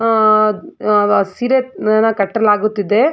ಆ ಆ ಸೀರೆ ಯನ್ನ ಕಟ್ಟಲಾಗುತ್ತಿದೆ.